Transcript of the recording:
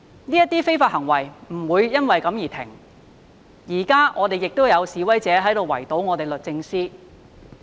這些非法行為不會因為這樣而停止，現在亦有示威者在圍堵律政中心。